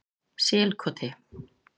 Selkoti